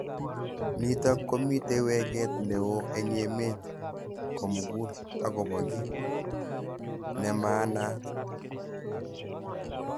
Nitok komitei weket neo eng emet komugul akobo ki nemanaaat.